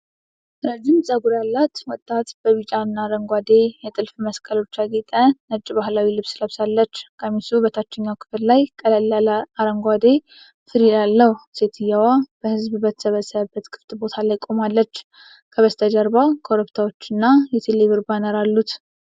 ረዥም ጠጉር ያላት ወጣት ሴት በቢጫና አረንጓዴ የጥልፍ መስቀሎች ያጌጠ ነጭ ባህላዊ ልብስ ለብሳለች። ቀሚሱ በታችኛው ክፍል ላይ ቀላል አረንጓዴ ፍሪል አለው። ሴትየዋ በህዝብ በተሰበሰበበት ክፍት ቦታ ላይ ቆማለች፤ ከበስተጀርባ ኮረብታዎችና የቴሌብር ባነር አሉት።